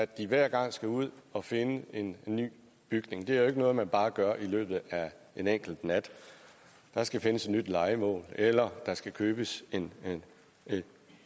de hver gang skulle ud at finde en ny bygning det er ikke noget man bare gør i løbet af en enkelt nat der skal findes et nyt lejemål eller der skal købes en